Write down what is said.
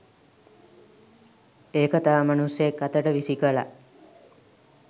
ඒක තව මනුස්සයෙක් අතට විසි කලා.